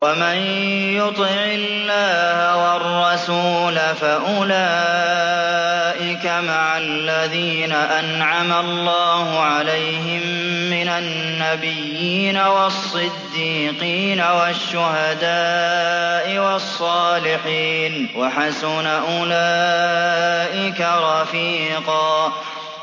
وَمَن يُطِعِ اللَّهَ وَالرَّسُولَ فَأُولَٰئِكَ مَعَ الَّذِينَ أَنْعَمَ اللَّهُ عَلَيْهِم مِّنَ النَّبِيِّينَ وَالصِّدِّيقِينَ وَالشُّهَدَاءِ وَالصَّالِحِينَ ۚ وَحَسُنَ أُولَٰئِكَ رَفِيقًا